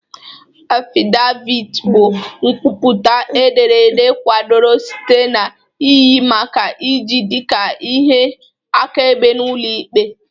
Affidavit bụ nkwupụta ederede kwadoro site na iyi maka iji dị ka ihe akaebe n'ụlọ ikpe.